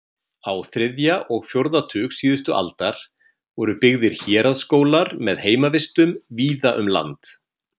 Á þriðja og fjórða tug síðustu aldar voru byggðir héraðsskólar með heimavistum víða um land.